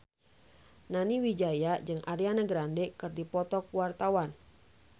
Nani Wijaya jeung Ariana Grande keur dipoto ku wartawan